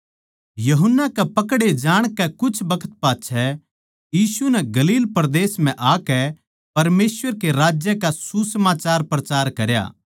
यूहन्ना कै पकड़े जाणकै कुछ बखत पाच्छै यीशु नै गलील परदेस म्ह आकै परमेसवर कै राज्य का सुसमाचार प्रचार करया